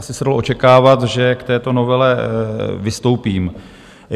Asi se dalo očekávat, že k této novele vystoupím.